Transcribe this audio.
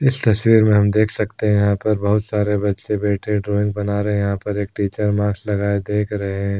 इस तस्वीर में हम देख सकते है यहाँ पर बहोत सारे बच्चे बैठे ड्राइंग बना रहे हैं यहाँ पर एक टीचर मास्क लगाए देख रहे है।